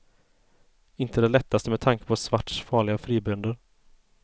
Inte det lättaste med tanke på svarts farliga fribönder.